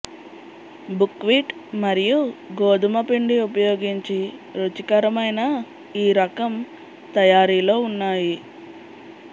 buckwheat మరియు గోధుమ పిండి ఉపయోగించి రుచికరమైన ఈ రకం తయారీలో ఉన్నాయి